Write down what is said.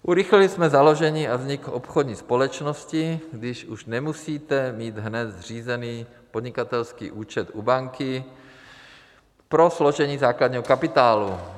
Urychlili jsme založení a vznik obchodní společnosti, kdy už nemusíte mít hned zřízený podnikatelský účet u banky pro složení základního kapitálu.